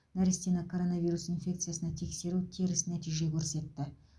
нәрестені коронавирус инфекциясына тексеру теріс нәтиже көрсетті